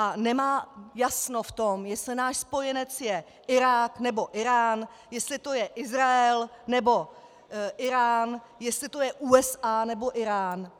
A nemá jasno v tom, jestli náš spojenec je Irák, nebo Írán, jestli to je Izrael, nebo Írán, jestli to jsou USA, nebo Írán.